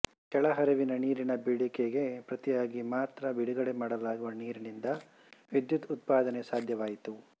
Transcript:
ಕೆಳ ಹರಿವಿನ ನೀರಿನ ಬೇಡಿಕೆಗೆ ಪ್ರತಿಯಾಗಿ ಮಾತ್ರ ಬಿಡುಗಡೆ ಮಾಡಲಾಗುವ ನೀರಿನಿಂದ ವಿದ್ಯುತ್ ಉತ್ಪಾದನೆ ಸಾಧ್ಯವಾಯಿತು